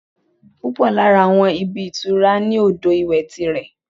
Púpọ̀ lára àwọn ibi ìtura ní odò ìwẹ̀ ti rẹ̀